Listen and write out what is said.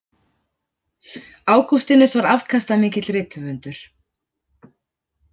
Ágústínus var afkastamikill rithöfundur.